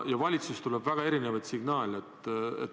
Valitsusest tuleb väga erinevaid signaale.